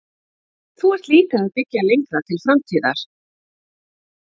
Þú ert líka að byggja lengra til framtíðar?